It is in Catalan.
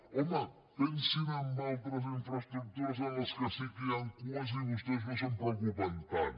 home pensin en altres infraestructures en les que sí que hi han cues i vostès no se’n preocupen tant